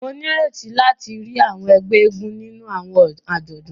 Mo n'ireti láti ríi àwọn ègbé eégún nínú àwọn ajọdun.